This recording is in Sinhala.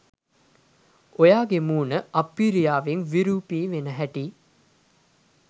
ඔයාගෙ මුණ අප්පිරියාවෙන් විරූපි වෙන හැටි